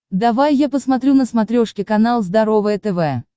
давай я посмотрю на смотрешке канал здоровое тв